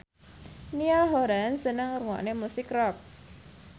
Niall Horran seneng ngrungokne musik rock